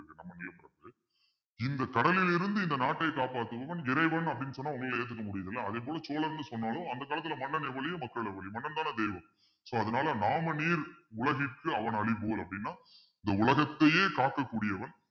இந்த கடலில் இருந்து இந்த நாட்டை காப்பாற்றுபவன் இறைவன் அப்படின்னு சொன்னா உங்களால ஏத்துக்க முடியுது இல்ல அதே போல சோழன்னு சொன்னாலும் அந்த காலத்துல மன்னனை எவ்வழியோ மக்கள் அவ்வழியே மன்னன்தானே தெய்வம் so அதனால நாமநீர் வேலி உலகிற்கு அவனளிபோல் அப்படின்னா இந்த உலகத்தையே காக்கக்கூடியவன்